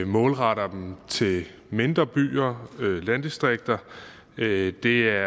målretter dem til mindre byer landdistrikter det er